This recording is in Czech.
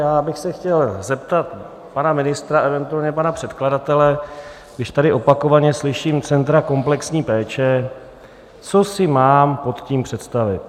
Já bych se chtěl zeptat pana ministra, eventuálně pana předkladatele, když tady opakovaně slyším centra komplexní péče, co si mám pod tím představit.